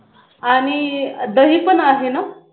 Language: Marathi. आणि दही पण आहे ना